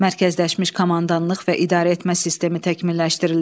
Mərkəzləşmiş komandanlıq və idarəetmə sistemi təkmilləşdirildi.